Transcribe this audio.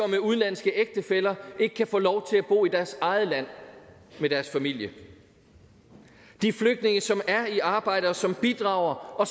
med udenlandske ægtefæller ikke kan få lov til at bo i deres eget land med deres familie de flygtninge som er i arbejde og som bidrager og